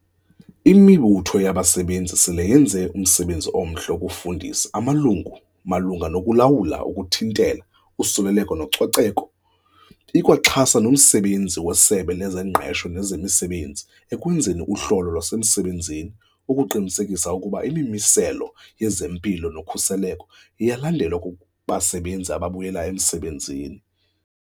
Imibutho yabasebenzi sele yenze umsebenzi omhle wokufundisa amalungu malunga nokulawula nokuthintela usuleleko nococeko. Ikwaxhasa nomsebenzi weSebe lezeNgqesho nezeMisebenzi ekwenzeni uhlolo lwasemsebenzini ukuqinisekisa ukuba imimiselo yezempilo nokhuseleko iyalandelwa kubasebenzi ababuyela emsebenzini.